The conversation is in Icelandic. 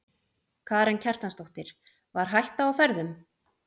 Karen Kjartansdóttir: Var hætta á ferðum?